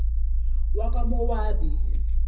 wakwamowabi